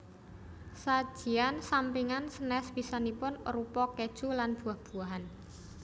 Sajian sampingan sanes bisanipun arupa keju lan buah buahan